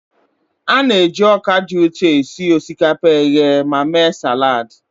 A na-eji ọka dị ụtọ esi osikapa eghe ma mee salad.